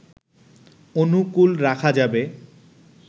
অনুকূল রাখা যাবে